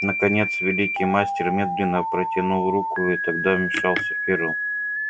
наконец великий мастер медленно протянул руку и тогда вмешался ферл